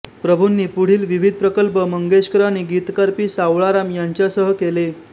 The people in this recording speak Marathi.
प्रभूंनी पुढील विविध प्रकल्प मंगेशकर आणि गीतकार पी सावळाराम यांच्यासह केले